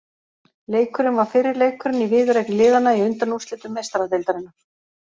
Leikurinn var fyrri leikurinn í viðureign liðanna í undanúrslitum Meistaradeildarinnar.